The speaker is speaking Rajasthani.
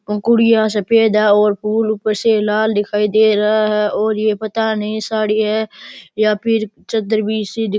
वो गुड़िया सफ़ेद है और फूल ऊपर से लाल दिखाई दे रहा है और ये पता नई साड़ी है या फिर चदर भी सी --